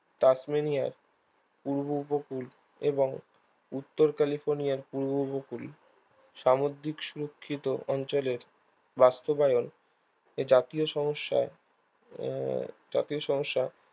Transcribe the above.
তাসমানিয়ার পূর্ব উপকূল এবং উত্তর ক্যালিফোর্নিয়ার পূর্ব উপকূল সামুদ্রিক সুরক্ষিত অঞ্চলের বাস্তবয়ন এ জাতীয় সমস্যায় আহ জাতীয় সমস্যা